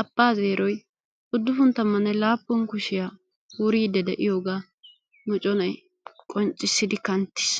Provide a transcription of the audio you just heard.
abbaa zeeroy udduppun tammanne laappun kushiya wuriidi deiyogaa micconay qonccissidi kanttiis.